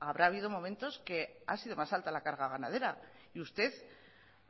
habrá habido momentos que ha sido más alta la carga ganadera y usted